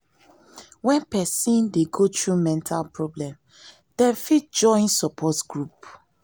when person dey go through mental problem dem fit join support group